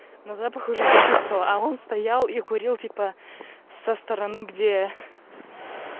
но запах уже почувствовала а он стоял и курил типа со стороны где